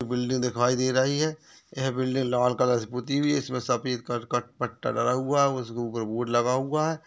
Building दिखाई दे रही है यह बिल्डिंग लाल कलर से पुती हुई है इसमें सफेद कलर का पट पट्टा डला हुआ है उसके ऊपर बोर्ड लगा हुआ है।